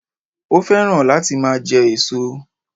Ó féràn láti máa je èso